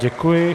Děkuji.